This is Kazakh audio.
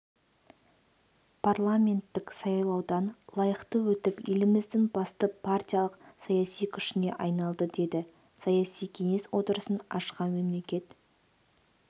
парламенттік сайлаудан лайықты өтіп еліміздің басты партиялық-саяси күшіне айналды деді саяси кеңес отырысын ашқан мемлекет